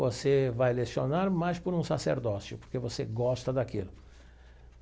Você vai lecionar, mas por um sacerdócio, porque você gosta daquilo.